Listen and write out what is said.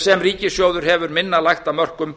sem ríkissjóður hefur minna lagt af mörkum